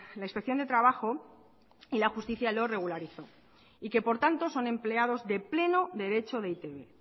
la inspección de trabajo y la justicia lo regularizó y que por tanto son empleados de pleno derecho de e i te be